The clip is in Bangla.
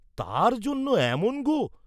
তার জন্যে এমন গোঁ!